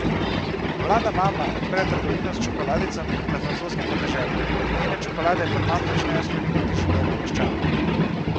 Mlada mama odpre trgovino s čokoladicami na francoskem podeželju, njene čokolade pa kmalu začnejo spreminjati življenja meščanov.